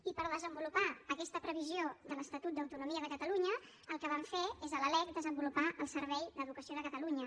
i per desenvolupar aquesta previsió de l’estatut d’autonomia de catalunya el que vam fer és a la lec desenvolupar el servei d’educació de catalunya